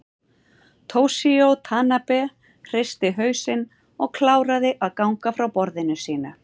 Toshizo Tanabe hristi hausinn og kláraði að gagna frá á borðinu sínu.